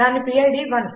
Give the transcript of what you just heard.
దాని పిడ్ 1